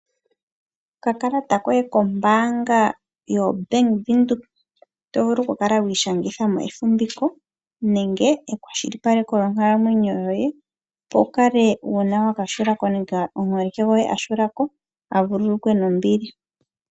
Okakalata koye kombaanga yaBank Windhoek, oto vulu okukala wiishangitha mo efumbiko nenge ekwashilipaleko lyonkalamwenyo yoye, opo wu kale uuna waka hula ko nenge omuholike gwoye aka hula ko a vululukwe nombili.